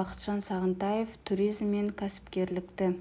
бақытжан сағынтаев туризм мен кәсіпкерлікті